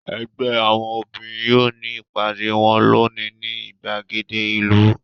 Ẹgbẹ́ àwọn obìnrin yóò ní ìpàdé wọn lónìí ní ìgbàgede ìlú.